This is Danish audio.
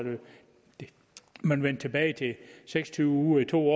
man vendte tilbage til seks og tyve uger i to